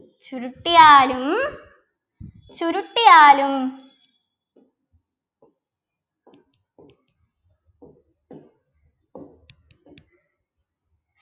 ചുരുട്ടിയാലും ചുരുട്ടിയാലും